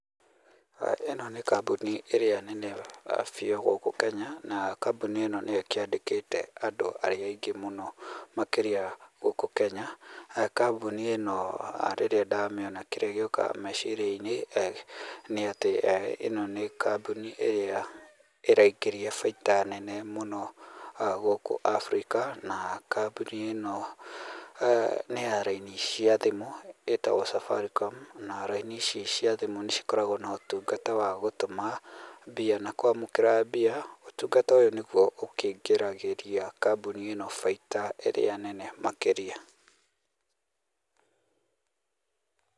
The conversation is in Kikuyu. Ĩno nĩ kambuni ĩrĩa nene biũ gũkũ Kenya, na kambuni ĩno nĩyo ĩkĩandĩkĩte andũ arĩa aingĩ mũno makĩria gũkũ Kenya, kambuni ĩno rĩrĩa ndamĩona kĩrĩa gĩũkaga meciria-inĩ nĩ atĩ ĩno nĩ kambuni ĩrĩa ĩraingĩria baita nene mũno gũkũ Afrika na kambuni ĩno nĩ ya laini cia thimũ ĩtagwo Safaricom na raini ici cia thimũ nĩ cikoragwo na ũtungata wa gũtũma mbia na kwamũkĩra mbia, ũtungata ũyũ nĩguo ũkĩingĩragĩria kambuni ĩno baita ĩrĩa nene makĩria.